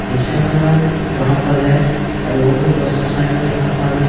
দৃশ্যখনৰ বাওঁফালে গছ-গছনিও দেখা পোৱা গৈছে।